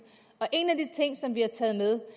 og en af de ting som vi har taget med